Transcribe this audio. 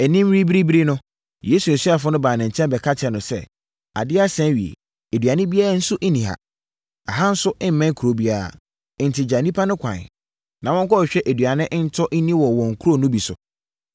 Anim rebiribiri no, Yesu asuafoɔ no baa ne nkyɛn bɛka kyerɛɛ no sɛ, “Adeɛ asa awie. Aduane biara nso nni ha. Ɛha nso mmɛn kuro biara. Enti gya nnipa no kwan, na wɔnkɔhwehwɛ aduane ntɔ nni wɔ nkuro no bi so.”